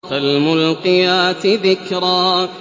فَالْمُلْقِيَاتِ ذِكْرًا